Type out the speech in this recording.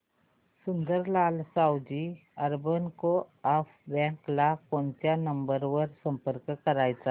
Sundarlal Savji urban coop bank ला कोणत्या number वर संपर्क करायचा